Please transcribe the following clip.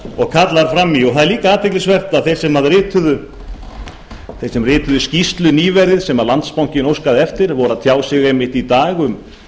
og kallar fram í það er líka athyglisvert að þeir sem rituðu skýrslu nýverið sem landsbankinn óskaði eftir voru að tjá sig einmitt í dag